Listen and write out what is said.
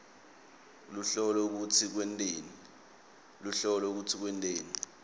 luhlolo futsi lwenteni